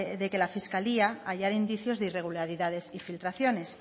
de que la fiscalía hallara indicios de irregularidades y filtraciones